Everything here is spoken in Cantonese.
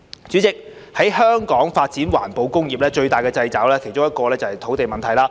主席，在香港發展環保工業，最大的掣肘之一是土地問題。